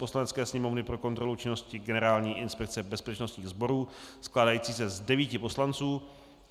Poslanecké sněmovny pro kontrolu činnosti Generální inspekce bezpečnostních sborů skládající se z devíti poslanců;